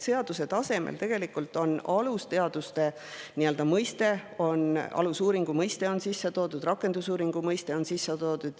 Seaduse tasemel on tegelikult alusteaduste, alusuuringu mõiste sisse toodud, rakendusuuringu mõiste on ka sisse toodud.